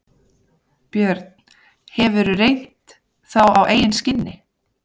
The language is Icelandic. Björn: Hefurðu reynt þá á eigin skinni?